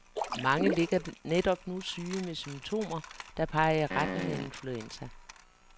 Mange ligger netop nu syge med symptomer, der peger i retning af influenza.